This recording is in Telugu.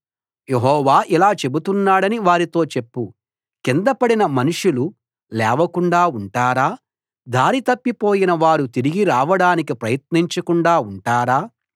యెహోవా ఇలా చెబుతున్నాడని వారితో చెప్పు కిందపడిన మనుషులు లేవకుండా ఉంటారా దారి తప్పిపోయిన వారు తిరిగి రావడానికి ప్రయత్నించకుండా ఉంటారా